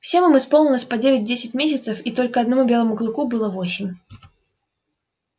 всем им исполнилось по девять-десять месяцев и только одному белому клыку было восемь